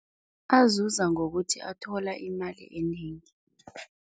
Azuza ngokuthi athola imali enengi.